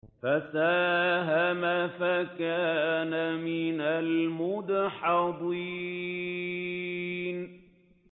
فَسَاهَمَ فَكَانَ مِنَ الْمُدْحَضِينَ